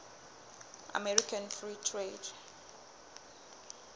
american free trade